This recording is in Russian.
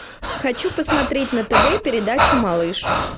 хочу посмотреть на тв передачу малыш